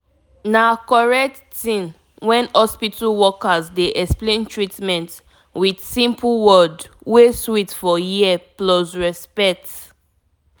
you know saysome pipo dey depend on both faith and prayer and medicine cus dem nor believe say only medicine fit mk their body better